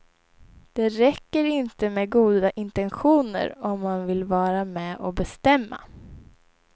Det räcker inte med goda intentioner om man vill vara med och bestämma.